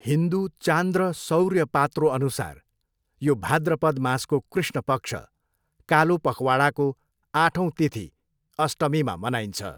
हिन्दू चान्द्र सौर्य पात्रोअनुसार, यो भाद्रपद मासको कृष्ण पक्ष, कालो पखवाडाको आठौँ तिथि, अष्टमीमा मनाइन्छ।